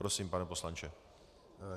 Prosím, pane poslanče.